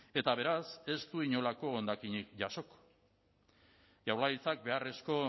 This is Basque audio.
eta beraz ez du inolako hondakinik jasoko jaurlaritzak beharrezko